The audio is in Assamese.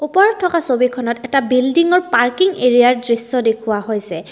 ওপৰত থকা ছবিখনত এটা বিল্ডিঙত পাৰ্কিং এৰিয়াৰ দৃশ্য দেখুওৱা হৈছে।